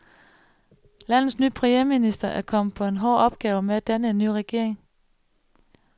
Landets ny premierminister er kommet på en hård opgave med at danne en ny regering.